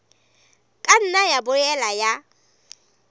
ka nna ya boela ya